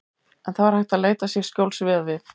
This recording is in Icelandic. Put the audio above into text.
En það var hægt að leita sér skjóls við og við.